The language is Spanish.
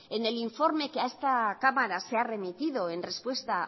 en el informe que a esta cámara se ha remitido en respuesta